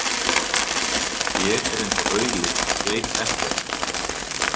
Ég er eins og auli, veit ekkert.